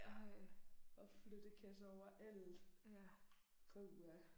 Ej. Og flyttekasser overalt. Puha